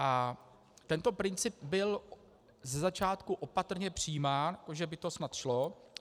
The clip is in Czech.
A tento princip byl ze začátku opatrně přijímán, že by to snad šlo.